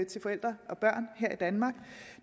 til forældre og børn her i danmark